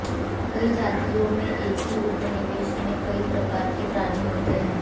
कई जातियों में एक ही उपनिवेश में कई प्रकार के प्राणी होते हैं